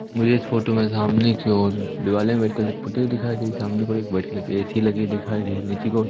मुझे इस फोटो में सामने की और दीवालें में फोटो दिखाई दे रही सामने की ओर एक वाइट कलर की ए_सी लगी दिखाई दे रही नीचे की ओर--